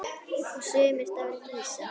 Og sumir dálítið hissa?